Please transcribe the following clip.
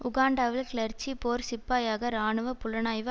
உகாண்டாவில் கிளர்ச்சி போர் சிப்பாயாக இராணுவ புலனாய்வு